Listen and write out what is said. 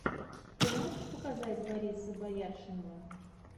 ты можешь показать бориса бояршинова